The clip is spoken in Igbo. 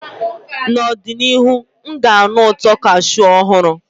N'ọdịnihu, m ga-anụ ụtọ cashew ọhụrụ.